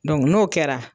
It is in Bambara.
n'o kɛra